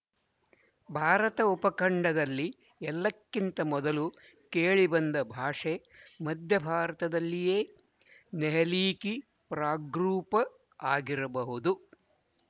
ಭಾರತ ಉಪಖಂಡದಲ್ಲಿ ಎಲ್ಲಕ್ಕಿಂತ ಮೊದಲು ಕೇಳಿಬಂದ ಭಾಷೆ ಮಧ್ಯಭಾರತದಲ್ಲಿಯೇ ನೆಹಲೀಕಿ ಪ್ರಾಗ್ರೂಪ ಆಗಿರಬಹುದು